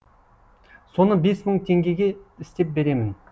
соны бес мың теңгеге істеп беремін